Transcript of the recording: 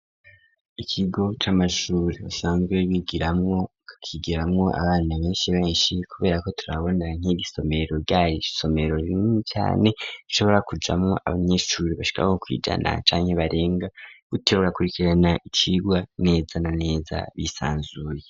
ikigo c'amashuri basanzwe bari kwigiramwo abana benshi benshi kubera ko turabona nk'ibisomero ryari isomero rinini cane rishobora kujamwo abanyeshuri bashika nko kwijana canke barenga gutsyo bagakurikirana icigwa neza na neza bisanzuye.